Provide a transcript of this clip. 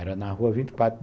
Era na rua vinte e quatro